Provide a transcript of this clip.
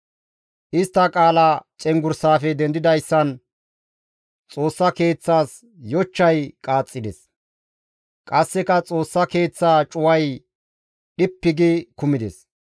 Istta qaala cenggurssafe dendidayssan Xoossa Keeththas yochchay qaaxxides; qasseka Xoossa Keeththaa cuway dhippi gi kumides.